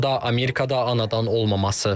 O da Amerikada anadan olmaması.